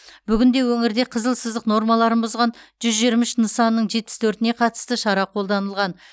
бүгінде өңірде қызыл сызық нормаларын бұзған жүз жиырма үш нысанның жетпіс төртіне қатысты шара қолданылған